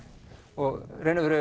og